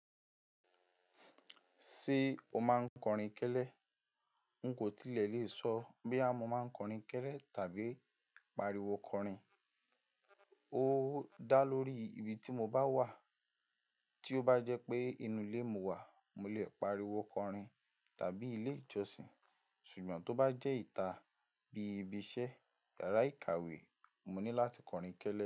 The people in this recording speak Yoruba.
Ṣé o máa ń kọrin kélé? N kò tilẹ̀ lè sọ bóyá mo máa ń kọrin kélé tàbí pariwo kọrin. Ó dá lórí ibi tí mo bá wà. Tí ó bá jẹ́ pé inú ilé mo wà, mo lè pariwo kọrin tàbí ilé ìjọsìn, ṣùgbọ́n tó bá jẹ́ ìta bí ibi iṣẹ́, yàrá ìkàwé, mo ní láti kọrin kélé.